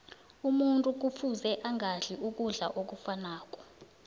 umuntu kufuze angadli ukudla okufanako